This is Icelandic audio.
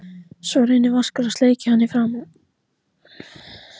Svo reynir Vaskur að sleikja hann í framan.